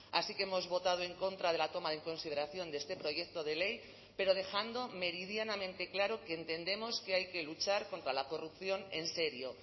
así que hemos votado en contra de la toma en consideración de este proyecto de ley pero dejando meridianamente claro que entendemos que hay que luchar contra la corrupción en serio